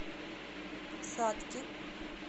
сатки